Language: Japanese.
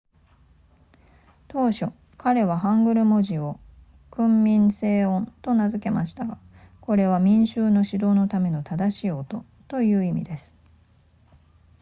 当初彼はハングル文字を訓民正音と名付けたましたがこれは民衆の指導のための正しい音という意味です